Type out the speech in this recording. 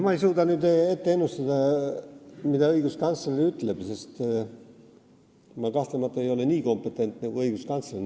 Ma ei suuda nüüd ennustada, mida õiguskantsler ütleb, sest mina ei ole kahtlemata nii kompetentne kui õiguskantsler.